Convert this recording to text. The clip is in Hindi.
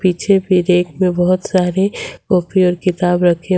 पीछे भी रैक में बहुत सारी कॉपी और किताब रखे--